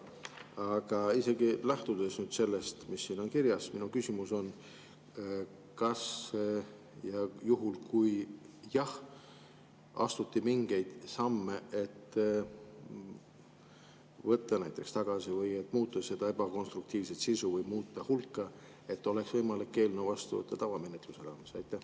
Aga isegi lähtudes nüüd sellest, mis siin kirjas on, on minu küsimus: kas astuti mingeid samme, et näiteks võtta tagasi või muuta seda ebakonstruktiivset sisu või muuta hulka, et oleks võimalik eelnõu vastu võtta tavamenetluse raames?